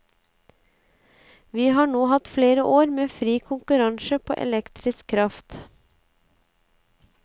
Vi har nå hatt flere år med fri konkurranse på elektrisk kraft.